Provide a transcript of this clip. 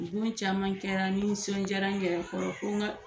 caman kɛra n nisɔndiyara n kɛra kɔrɔ ko n ka